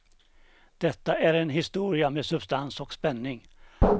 Detta är en historia med substans och spänning.